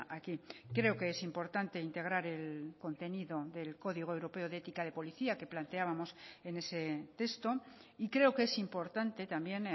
aquí creo que es importante integrar el contenido del código europeo de ética de policía que planteábamos en ese texto y creo que es importante también